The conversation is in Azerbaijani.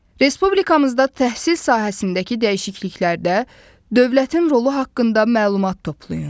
Respublikamızda təhsil sahəsindəki dəyişikliklərdə dövlətin rolu haqqında məlumat toplayın.